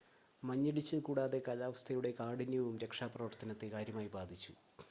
മഞ്ഞിടിച്ചിൽ കൂടാതെ കാലാവസ്ഥയുടെ കാഠിന്യവും രക്ഷാപ്രവർത്തനത്തെ കാര്യമായി ബാധിച്ചു